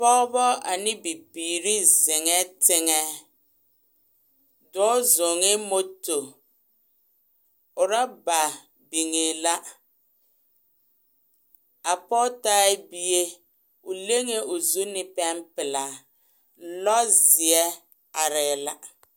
pogeba a ne Bibiiri zeŋee teŋɛ dɔɔ zɔŋee moto ɔrɔba biŋee la a poge taa bie o leŋee o zu ne pɛŋ peɛla lɔzeɛ arɛɛ la.